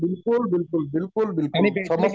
बिलकुल बिलकुल बिलकुल बिलकुल समस्या दूर होतील